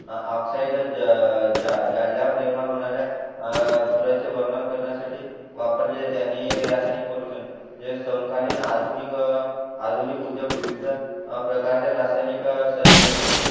oxide जाळल्या वर निर्माण होणाऱ्या धुराचे वर्णन करण्यासाठी वापरले जाते आणि रासायनिक पोल्युशन हे समकालीन आधुनिक आधुनिक उद्योग विविध प्रकारच्या रासायनिक संयुगे